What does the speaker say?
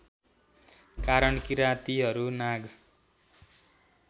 कारण किरातीहरू नाग